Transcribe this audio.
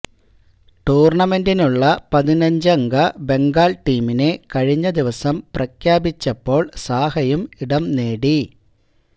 ടൂർണമെന്റിനുള്ള പതിനഞ്ചംഗ ബെംഗാൾ ടീമിനെ കഴിഞ്ഞ ദിവസം പ്രഖ്യാപിച്ചപ്പോൾ സാഹയും ഇടം നേടി